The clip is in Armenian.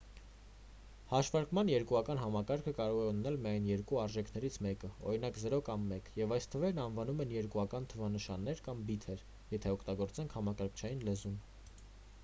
հաշվարկման երկուական համակարգը կարող է ունենալ միայն երկու արժեքներից մեկը օրինակ 0 կամ 1 և այս թվերն անվանում են երկուական թվանշաններ կամ բիթեր եթե օգտագործենք համակարգչային լեզուն